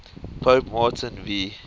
pope martin v